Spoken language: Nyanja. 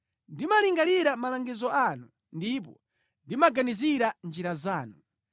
Ndimalingalira malangizo anu ndipo ndimaganizira njira zanu.